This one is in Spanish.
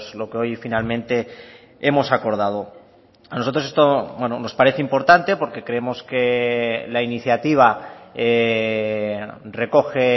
lo que hoy finalmente hemos acordado a nosotros esto nos parece importante porque creemos que la iniciativa recoge